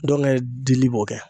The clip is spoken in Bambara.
Dɔnkɛ dili b'o kɛ.